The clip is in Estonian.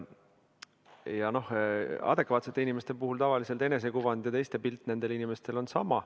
No adekvaatsete inimeste puhul on tavaliselt nii, et nende enesekuvand ja teiste pilt nendest on sama.